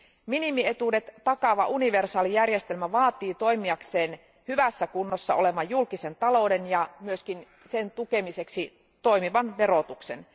Minimietuudet takaava universaali järjestelmä vaatii toimiakseen hyvässä kunnossa olevan julkisen talouden ja myöskin sen tukemiseksi toimivan verotuksen.